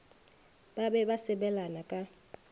ba be ba sebelana ka